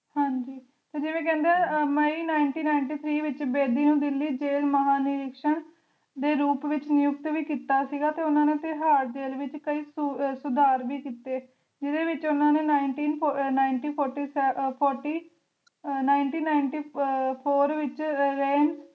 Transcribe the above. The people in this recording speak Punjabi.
ਦੇ ਰੂਪ ਵਿਚ ਨਿਯੁਕਤ ਵੀ ਕੀਤਾ ਸੀ ਗਾਤੇ ਓਹਨਾ ਨੇ ਤੇਹਾਰ ਜੇਲ ਵਿਚ ਕਯੀ ਸੁਧਾਰ ਵੀ ਕੀਤੇ ਜਿੰਦੇ ਵਿਚ ਓਹਨਾ ਨੇ One Nine Nine Four